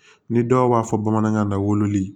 Ni dɔw b'a fɔ bamanankan na wololi